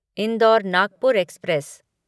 indoor Nagpur express